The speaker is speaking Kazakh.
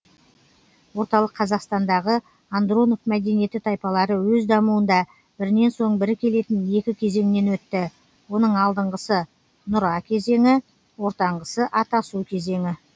орталык қазақстандағы андронов мәдениеті тайпалары өз дамуында бірінен соң бірі келетін екі кезеңнен өтті оның алдыңғысы нүра кезеңі ортаңғысы атасу кезеңі